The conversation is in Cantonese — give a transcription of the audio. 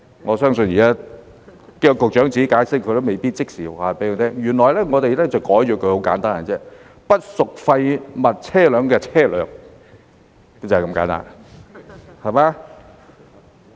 我相信現在叫局長解釋，他都未必可以即時告訴我們，原來很簡單，我們把它更改為"不屬廢物車輛的車輛"，就是這麼簡單。